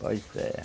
Pois é, rapaz.